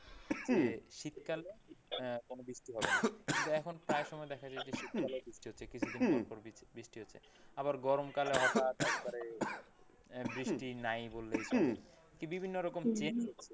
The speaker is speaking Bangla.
যে শীতকালে আহ কোন বৃষ্টি হবে না কিন্তু এখন প্রায় সময় দেখা যায় যে শীতকালেও বৃষ্টি হচ্ছে, কিছুদিন পরপর বৃষ্টি হচ্ছে আবার গরম কালে হঠাৎ একবারে বৃষ্টি নাই বললেই চলে। কি বিভিন্ন রকম change,